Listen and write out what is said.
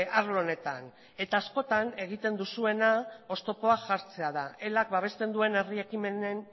arlo honetan eta askotan egiten duzuena oztopoa jartzea da elak babesten duen herri ekimenen